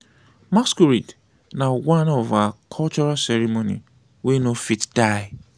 masqurade na one of our cultural ceremony wey no fit die.